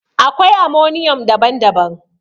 Akwai ammonium daban-daban.